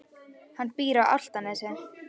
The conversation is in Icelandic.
Hann býr á Álftanesi.